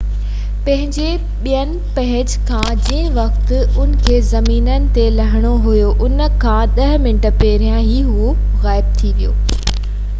پنهنجي ٻئين پهچ کان جنهن وقت ان کي زمين تي لهڻو هيو ان کان ڏهه منٽ پهريان ئي اهو غائب ٿي ويو